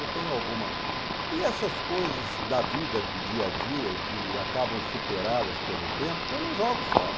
Eu tenho alguma... E essas coisas da vida, do dia a dia, que acabam superadas pelo tempo, eu não jogo fora.